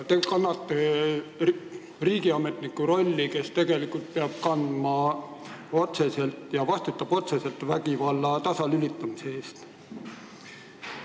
Te olete justiitsminister, te olete riigiametnik, kes vastutab otseselt vägivalla tõkestamise eest.